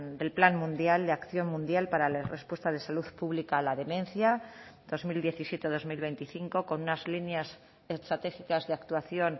del plan mundial de acción mundial para la respuesta de salud pública a la demencia dos mil diecisiete dos mil veinticinco con unas líneas estratégicas de actuación